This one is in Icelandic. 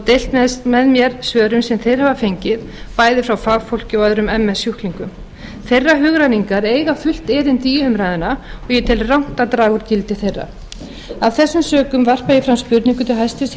deilt með mér svörum sem þeir hafa fengið bæði frá fagfólki og öðrum ms sjúklingum þeirra hugrenningar eiga fullt erindi í umræðuna og ég tel rangt að draga úr gildi þeirra af þessum sökum varpa ég fram spurningu til hæstvirts